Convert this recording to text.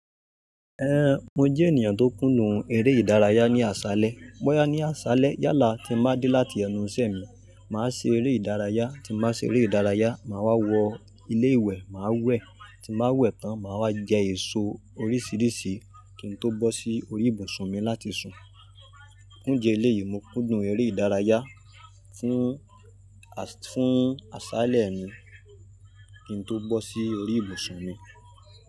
Mo jẹ ènìyàn tó kùnú èrè ìdárayá ní àṣálẹ́. Bóyá ní àṣálẹ́ yálà tí máa dé láti ẹnu ìṣẹ́ mi, màá ṣe eré ìdárayá, tí má se eré ìdárayá, màá wa wọ ilé ìwẹ̀ má wẹ̀, tí màá wẹ̀ tán, màá wá jẹ èso oríṣiríṣi kí n tó bọ́ sí orí ìbùsùn mi láti sùn. Njẹ eléyìí, mo kúndùn eré ìdárayá fún asa, fún àṣálẹ́ mi kí n tó bọ́ sí orí ìbùsùn mi.